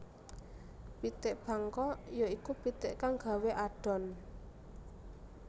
Pitik Bangkok ya iku pitik kang gawé adhon